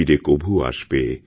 ফিরে কভু আসবে